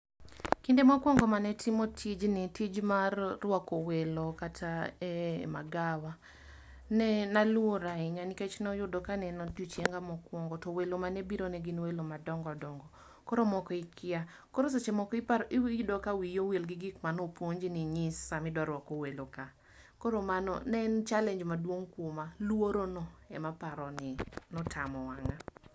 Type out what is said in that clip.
Kinde mokwongo mane timo tijni, tij mar rwako welo kata e magawa, nee na luor ahinya nikech noyudo ka neen odiochienga mokwongo, to welo mane biro ne gin welo madongo dongo. Koro moko ikia. Koro seche moko ipar iwi iyudo ka wii owil gi gik mano puonji ni nyis samidwa rwako weloka. Koro mano ne en challenge maduong' kwoma. Lworono ema paro ni notamo wang'a